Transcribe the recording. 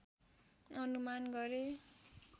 अनुमान गरे